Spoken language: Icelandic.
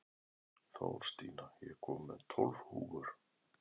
Þórstína, ég kom með tólf húfur!